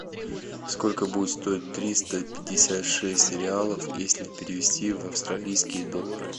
сколько будет стоить триста пятьдесят шесть реалов если перевести в австралийские доллары